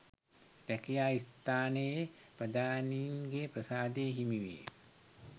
රැකියා ස්ථානයේ ප්‍රධානීන්ගේ ප්‍රසාදය හිමි වේ.